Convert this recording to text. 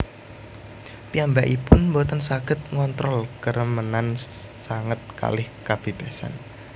Piyambakipun boten saged ngontrol keremenan sanget kalih kabebasan